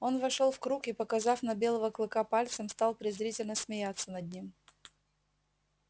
он вошёл в круг и показав на белого клыка пальцем стал презрительно смеяться над ним